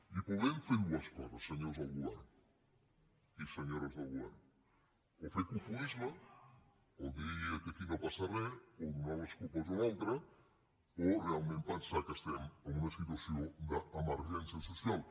i podem fer dues coses senyores del govern i senyores del govern o fer cofoisme o dir que aquí no passa res o donar les culpes a un altre o realment pensar que estem en una situació d’emergència social